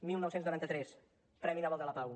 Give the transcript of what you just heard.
dinou noranta tres premi nobel de la pau